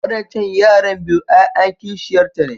Wadancan yaran biyu ‘ya’yan kishiyarta ne.